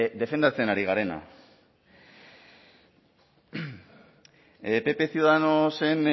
defendatzen ari garena pp ciudadanosen